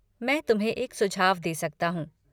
मैं तुम्हें एक सुझाव दे सकता हूँ।